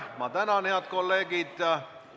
Ma tänan, head kolleegid!